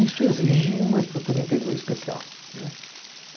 Isso exige uma estrutura interior especial, né.